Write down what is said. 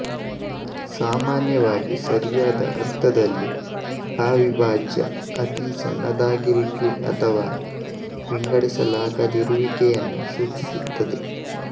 ಸಾಮಾನ್ಯವಾಗಿ ಸರಿಯಾದ ಅರ್ಥದಲ್ಲಿ ಅವಿಭಾಜ್ಯ ಅತಿ ಸಣ್ಣದಾಗಿರುವಿಕೆ ಅಥವಾ ವಿಂಗಡಿಸಲಾಗದಿರುವಿಕೆಯನ್ನು ಸೂಚಿಸುತ್ತದೆ